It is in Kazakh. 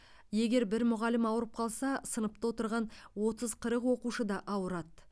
егер бір мұғалім ауырып қалса сыныпта отырған отыз қырық оқушы да ауырады